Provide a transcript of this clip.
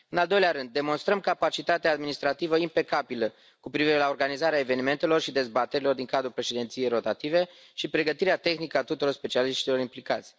În al doilea rând, demonstrăm capacitatea administrativă impecabilă cu privire la organizarea evenimentelor și dezbaterilor din cadrul președinției rotative și pregătirea tehnică a tuturor specialiștilor implicați.